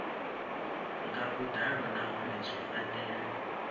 nga vhuḓalo nahone zwi fanela